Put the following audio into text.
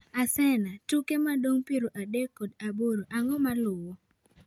Arsena tuke modong piero adek kod aboro ang'o maluwo?